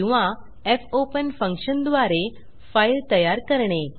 किंवा fopen function द्वारे file तयार करणे